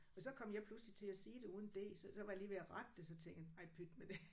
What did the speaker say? Og så kom jeg pludselig til at sige det uden D så så var jeg lige ved at rette det så tænkte jeg ej pyt med det